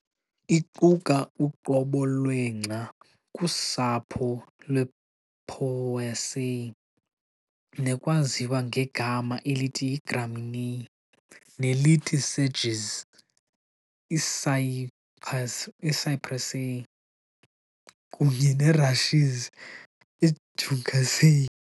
Iquka "uqobo lwengca", kusapho lwePoaceae, nekwaziwa ngegama elithi Gramineae, nelithi sedges, iCyperaceae, kunye nerushes, iJuncaceae.